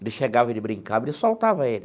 Ele chegava, ele brincava, ele soltava ele.